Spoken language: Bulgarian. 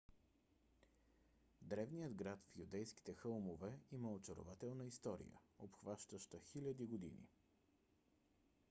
древният град в юдейските хълмове има очарователна история обхващаща хиляди години